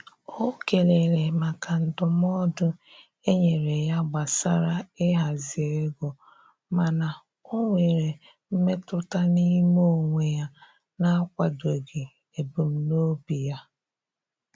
O kelere maka ndụmọdụ e nyere ya gbasara ịhazi ego, mana o nwere mmetụta n'ime onwe ya na-akwadoghị ebumnobi ya.